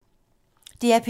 DR P2